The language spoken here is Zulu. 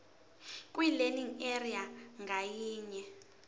kwilearning area ngayinye